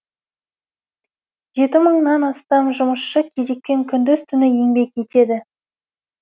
жеті мыңнан астам жұмысшы кезекпен күндіз түні еңбек етеді